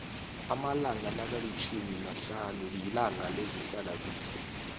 amalanga nakilitjhumi nahlanu yilanga lezehlala kuhle